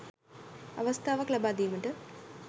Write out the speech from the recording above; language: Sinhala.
අවස්ථාවක් ලබා දීමට